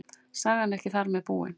Sagan er ekki þar með búin.